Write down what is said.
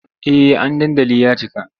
Eh an dandali ya cika.